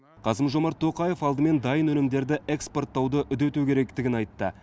қасым жомарт тоқаев алдымен дайын өнімдерді экспорттауды үдету керектігін айтты